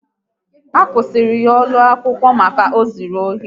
A kwusiri ya ụlọ akwụkwọ maka ịzụ ohi